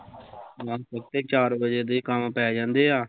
ਬਸ ਇੱਥੇ ਚਾਰ ਵਜੇ ਦੇ ਈ ਕੰਮ ਪੈ ਜਾਂਦੇ ਆ